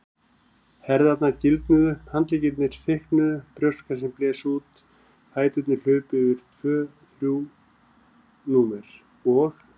Herðarnar gildnuðu, handleggirnir þykknuðu, brjóstkassinn blés út, fæturnir hlupu yfir tvö þrjú númer og.